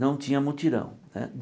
Não tinha mutirão né.